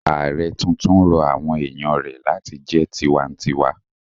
Ààrẹ tuntun rọ àwọn èèyàn rẹ̀ láti jẹ́ tinwatinwa